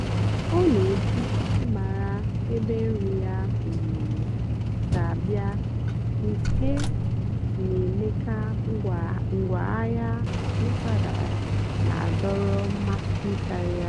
um ọ́ nà-èjì ị́márá ébé nrì yá um sí àbịá nkè nà-èmékà ngwáàhịá mpàgàrà nà-àdọ́rọ́ mmásị́ kàrị́á.